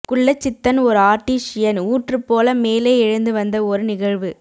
குள்ளச்சித்தன் ஓர் ஆர்ட்டீசியன் ஊற்று போல மேலே எழுந்து வந்த ஒரு நிகழ்வு